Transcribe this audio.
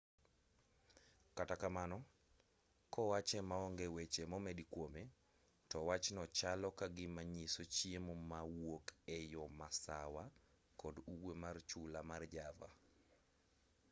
kata kamano kowache maonge weche momedi kwome to wachno chalo ka gima nyiso chiemo mawuok e yo masawa kod ugwe mar chula mar java